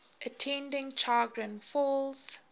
attending chagrin falls